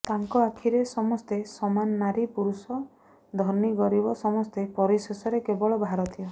ତାଙ୍କ ଆଖିରେ ସମସ୍ତେ ସମାନ ନାରୀ ପୁରୁଷ ଧନୀ ଗରିବ ସମସ୍ତେ ପରିଶେଷରେ କେବଳ ଭାରତୀୟ